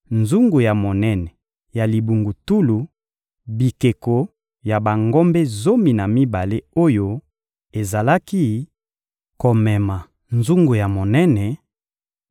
nzungu ya monene ya libungutulu, bikeko ya bangombe zomi na mibale oyo ezalaki komema nzungu ya monene,